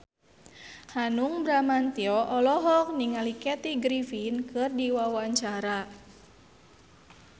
Hanung Bramantyo olohok ningali Kathy Griffin keur diwawancara